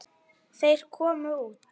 Þeir komu út.